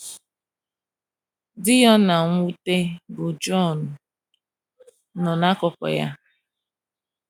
Di ya ọ na - nwute, bụ́ John, nọ n’akụkụ ya.